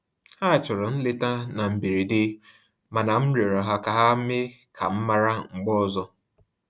Ha chọrọ nleta na mberede, mana m rịọrọ ha ka ha mee ka m mara mgbe ọzọ